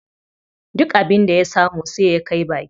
Duk abin da ya samu sai ya kai baki.